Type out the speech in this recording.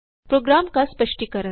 programme का स्पष्टीकरण